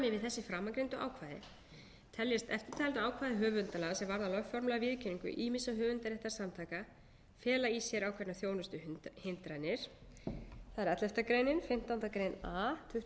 ákvæði teljast eftirtalin ákvæði höfundalaga sem varða lögformlega viðurkenningu ýmissa höfundaréttarsamtaka fela í sér ákveðnar þjónustuhindranir þ e elleftu greinar fimmtándu grein a tuttugasta og þriðju grein tuttugasta og